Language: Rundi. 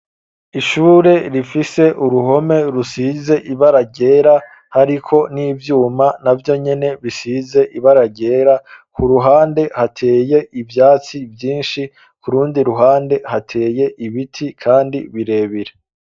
Ishure rifise uruhome rusize ibaragera hariko nivyuma na byo nyine bisize ibaragera ku ruhande hateye ivyatsi byinshi kurundi ruhande hateye ibiti kandi birebire.